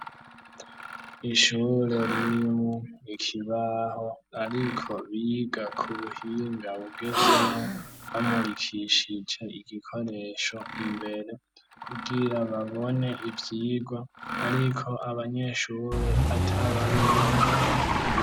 Ishure ririmwo ikibaho ariko biga ku buhinga bugezweho, bamurikishije igikoresho imbere, kugira babone ivyigwa ariko abanyeshure atabariyo mw'ishure.